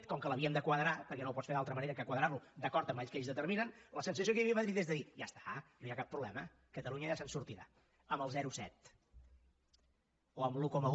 com que l’havíem de quadrar perquè no ho pots fer d’altra manera que quadrarlo d’acord amb el que ells determinen la sensació que hi havia a madrid és de dir ja està no hi ha cap problema catalunya ja se’n sortirà amb el zero coma set o amb l’un coma un